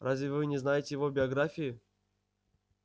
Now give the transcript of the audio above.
разве вы не знаете его биографии